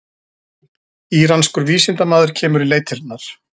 Íranskur vísindamaður kemur í leitirnar